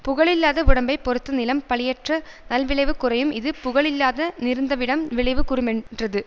புகழில்லாத வுடம்பைப் பொறுத்த நிலம் பழியற்ற நல்விளைவு குறையும் இது புகழில்லாதா னிருந்தவிடம் விளைவு குன்றுமென் றது